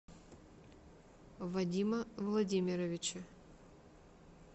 вадима владимировича